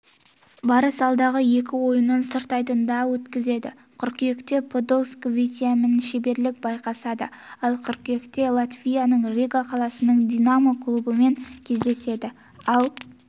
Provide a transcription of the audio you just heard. барыс алдағы екі ойынын сырт айдында өткізеді қыркүйекте подольскінің витязьімен шеберлік байқасады ал қыркүйекте латвияның рига қаласының динамо клубымен кездеседі ал